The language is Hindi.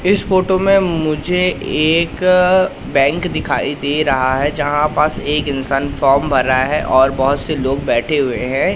इस फोटो में मुझे एक बैंक दिखाई दे रहा है जहां पास एक इंसान फॉर्म भरा है और बहोत से लोग बैठे हुए हैं।